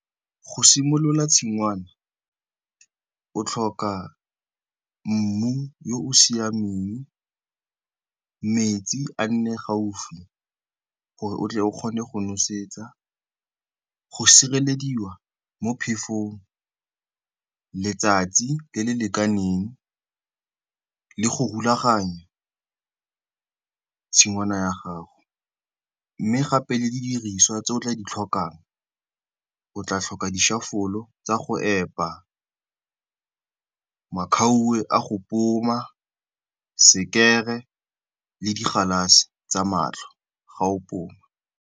Go simolola tshingwana, o tlhoka mmu o o siameng, metsi a nne gaufi gore o tle o kgone go nosetsa, go sirelediwa mo phefong, letsatsi le le lekaneng le go rulaganya tshingwana ya gago. Mme gape le didiriswa tse o tla di tlhokang, o tla tlhoka dišafolo tsa go epa, makhauwe a go poma, sekere le digalase tsa matlho fa o pona.